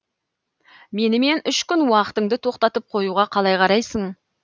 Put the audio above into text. менімен үш күн уақытыңды тоқтатып қоюға қалай қарайсың